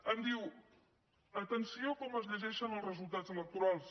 em diu atenció a com es llegeixen els resultats electorals